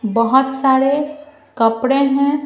बहुत सारे कपड़े हैं।